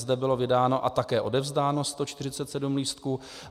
Zde bylo vydáno a také odevzdáno 147 lístků.